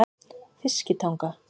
Fiskitanga